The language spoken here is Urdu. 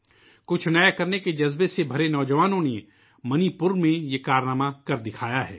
کچھ نیا کرنے کے جذبے سے بھرے نوجوانوں نے منی پور میں یہ کارنامہ کر دکھایا ہے